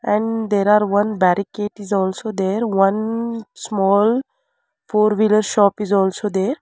and there are one barricade is also there one small four wheeler shop is also there.